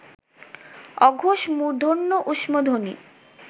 অঘোষ মূর্ধন্য ঊষ্মধ্বনি